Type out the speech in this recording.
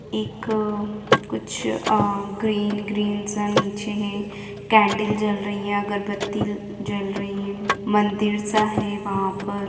एक कुछ आ ग्रीन-ग्रीन सा नीचे है कैंडल जल रही है अगरबत्ती जल रही है मंदिर सा है वहा पर--